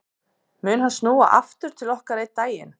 Mun hann snúa aftur til okkar einn daginn?